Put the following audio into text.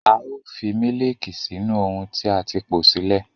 A ó fi mílííkì sínú ohun tí a ti po sílẹ̀.